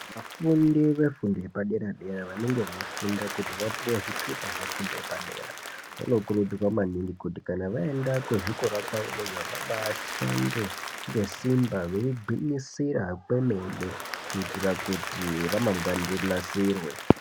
Vafundi vefundo yepadera dera vanenge beyifunda kuti vapuwe zvitupa zvefundo yepadera ,vanokurudzirwa maningi kuti kana vaenda kuzvikora kwavo vashande ngesimba beyigwinyisira kwemene kuitira kuti ramangwana rinasirwe.